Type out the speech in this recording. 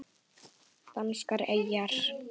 Danskar eyjar